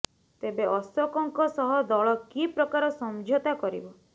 ତେବେ ଅଶୋକଙ୍କ ସହ ଦଳ କି ପ୍ରକାର ସମଝତା କରିବ